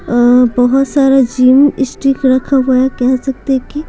अ बहुत सारा gym stick रखा हुआ है कह सकते हैं कि --